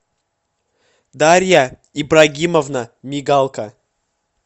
дарья ибрагимовна мигалка